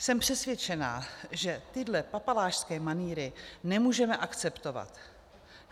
Jsem přesvědčena, že tyhle papalášské manýry nemůžeme akceptovat.